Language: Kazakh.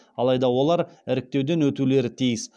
алайда олар іріктеуден өтулері тиіс